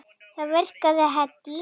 Það virkaði Haddý.